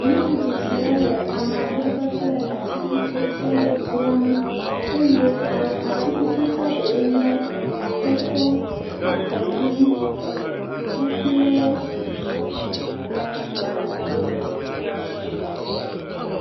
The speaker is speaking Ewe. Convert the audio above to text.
Nyɔnu tsitsi la le amegbe kple atikutsetsewo dzram eye ame atikutsetse ɖewoe nye atɔtɔ, akɔɖu kpakple abladzo.